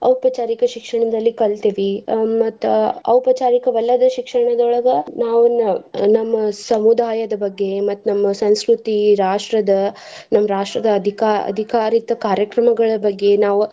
ಔಪಚಾರಿಕ ಶಿಕ್ಷಣದಲ್ಲಿ ಕಲ್ತಿವಿ ಹ್ಮ ಮತ್ತ್ ಔಪಚಾರಿಕವಲ್ಲದ ಶಿಕ್ಷಣದೊಳಗ ನಾವ್ ನ~ ನಮ್ಮ ಸಮುದಾಯದ ಬಗ್ಗೆ, ಮತ್ತ್ ನಮ್ಮ ಸಂಸ್ಕೃತಿ ರಾಷ್ಟ್ರದ, ನಮ್ಮ ರಾಷ್ಟ್ರದ ಅಧಿಕಾ~ಅಧಿಕಾರಿತ ಕಾರ್ಯಕ್ರಮಗಳ ಬಗ್ಗೆ ನಾವ್.